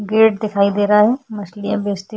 gate दिखाई दे रहा है मछलियाँ बेचती --